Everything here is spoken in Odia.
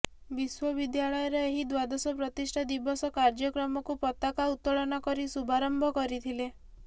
ବିଶ୍ବବିଦ୍ୟାଳୟର ଏହି ଦ୍ବାଦଶ ପ୍ରତିଷ୍ଠା ଦିବସ କାର୍ଯ୍ୟକ୍ରମକୁ ପତାକା ଉତ୍ତୋଳନ କରି ଶୁଭାରମ୍ଭ କରିଥିଲେ